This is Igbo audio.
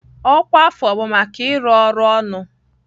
Ọkwa afọ bụ maka ịrụ ọrụ ọnụ.